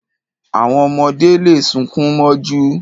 Àwọn ọmọdé le sunkún mọ́jú.